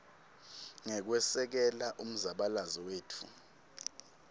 ngekwesekela umzabalazo wetfu